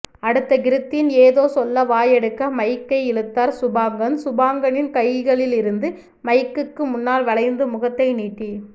அடுத்து கிருத்தின் ஏதோ சொல்ல வாயெடுக்க மைக்கை இழுத்தார் சுபாங்கன் சுபாங்கனின் கைகளிலிருந்த மைக்குக்கு முன்னால் வளைந்து முகத்தை நீட்டி